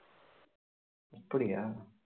அப்படியா